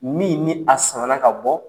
Min ni a samana ka bɔ